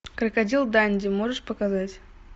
крокодил данди можешь показать